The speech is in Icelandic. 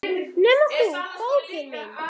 Nema þú, bókin mín.